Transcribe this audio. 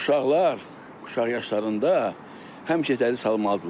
Uşaqlar, uşaq yaşlarında həmişə təhsil almalıdırlar.